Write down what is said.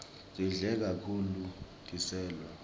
sidle kahulu tiselo